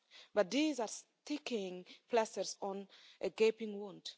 But these are sticking plasters on a gaping wound.